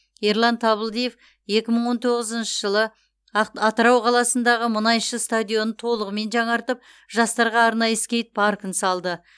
ерлан табылдиев екі мың он тоғызыншы жылы атырау қаласындағы мұнайшы стадионын толығымен жаңартып жастарға арналған скейт паркін салды